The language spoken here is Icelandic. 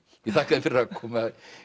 ég þakka þér fyrir að koma